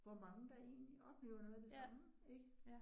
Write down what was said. Hvor mange der egentlig oplever noget af det samme ik